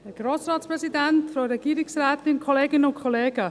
Frau Schmidhauser, Sie haben das Wort.